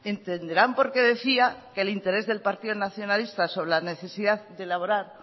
entenderán por qué decía que el interés del partido nacionalista sobre la necesidad de elaborar